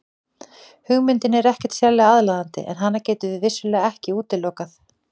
Hugmyndin er ekkert sérlega aðlaðandi en hana getum við vissulega ekki útilokað.